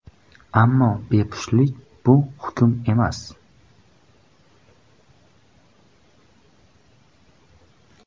Ammo bepushtlik bu hukm emas!